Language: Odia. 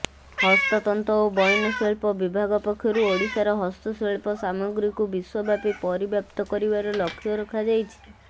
ହସ୍ତତନ୍ତ ଓ ବୟନଶିଳ୍ପ ବିଭାଗ ପକ୍ଷରୁ ଓଡ଼ିଶାର ହସ୍ତଶିଳ୍ପ ସାମଗ୍ରୀକୁ ବିଶ୍ୱବ୍ୟାପୀ ପରିବ୍ୟାପ୍ତ କରିବାର ଲକ୍ଷ୍ୟ ରଖାଯାଇଛି